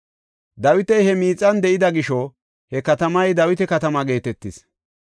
Dawiti he miixan de7ida gisho he katamay Dawita Katama geetetis.